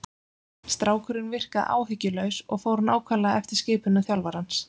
Strákurinn virkaði áhyggjulaus og fór nákvæmlega eftir skipunum þjálfarans.